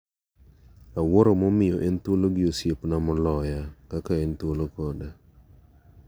Awuoro momiyo en thuolo gi osiepna moloya kaka en thuolo koda.